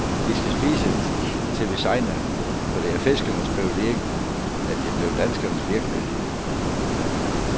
Vi skal spise, til vi segner, for det er fiskernes privilegium, og det blev danskernes virkelighed.